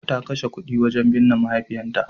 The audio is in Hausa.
Ta kashe kuɗi wurin binne mahaifinta.